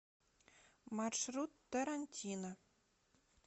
маршрут тарантино